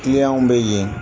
Kiliyanw bɛ yen.